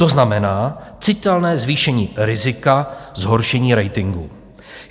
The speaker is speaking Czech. To znamená citelné zvýšení rizika zhoršení ratingu.